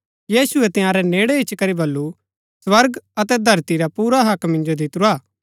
यीशुऐ तंयारै नेड़ै इच्ची करी बल्लू स्वर्ग अतै धरती रा पुरा हक्क मिन्जो दितुरा हा